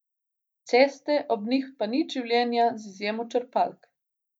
Ceste, ob njih pa nič življenja, z izjemo črpalk.